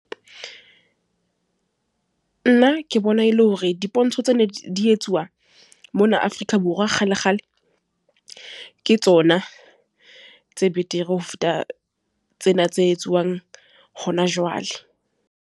Nna ke bona e le hore dipontsho tse ne di etsuwa mona Afrika Borwa kgale, kgale. Ke tsona tse betere, ho feta tsena tse etsuwang hona jwale.